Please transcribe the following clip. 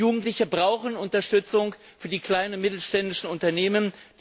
Jugendliche brauchen Unterstützung für die kleinen und mittelständischen Unternehmen.